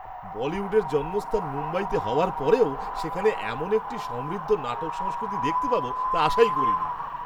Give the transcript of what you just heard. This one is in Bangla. বলিউডের জন্মস্থান মুম্বাইতে হওয়ার পরেও, সেখানে এমন একটি সমৃদ্ধ নাটক সংস্কৃতি দেখতে পাব, তা আশাই করিনি!